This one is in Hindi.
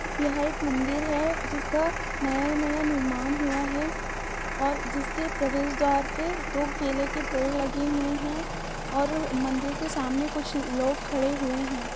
यहा एक मन्दिर हे जिसका नया-नया निर्माण उआ हे । और जिसके प्रवेश द्वार पे दो केले के पेढ लगे हुए हे और मन्दिर के सामने कुछ लोग खड़े हुए हे ।